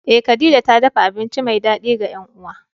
Eh khadija ta dafa abinci mai dadi ga yan uwa.